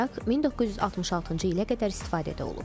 Mayak 1966-cı ilə qədər istifadədə olub.